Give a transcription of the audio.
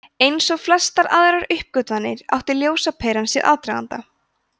eins og flestar aðrar uppgötvanir átti ljósaperan sér aðdraganda